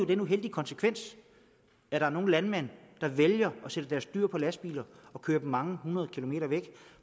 den uheldige konsekvens at der er nogle landmænd der vælger at sætte deres dyr på lastbiler og kørte dem mange hundrede kilometer væk